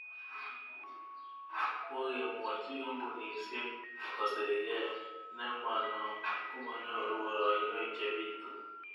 Kokemwochi kambunisyek kosirke, ne ma no komanyoru poroinwek che piitu